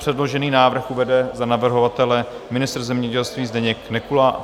Předložený návrh uvede za navrhovatele ministr zemědělství Zdeněk Nekula.